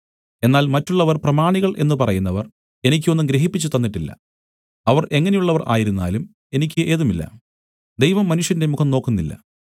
എന്നാൽ മറ്റുള്ളവർ പ്രമാണികൾ എന്ന് പറയുന്നവർ എനിക്ക് ഒന്നും ഗ്രഹിപ്പിച്ചു തന്നിട്ടില്ല അവർ എങ്ങനെയുള്ളവർ ആയിരുന്നാലും എനിക്ക് ഏതുമില്ല ദൈവം മനുഷ്യന്റെ മുഖം നോക്കുന്നില്ല